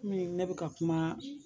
Komi ne bɛka kuma